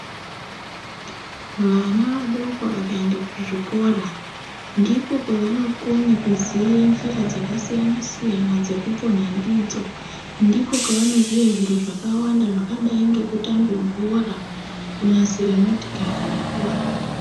Vana vadoko vakaenda kuzvikora ndiko kwawanokone kuziba njira dzakasiyana siyana dzekupona ndidzo ndiko kwawanoziwa zviro zvakawanda zvekadai nekutamba bhora kunasira motikari nekuwaka.